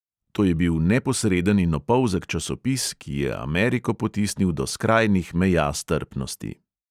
To je bil neposreden in opolzek časopis, ki je ameriko potisnil do skrajnih meja strpnosti.